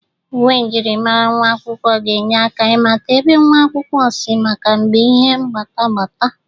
Uwe myịrịmara nwa akwụkwọ ga-enye aka ịmata ebe nwata akwụkwọ si maka mgbe ihe gbatagbata.